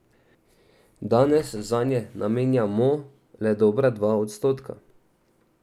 Danes zanje še vedno namenjamo le dobra dva odstotka.